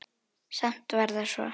Samt var það svo.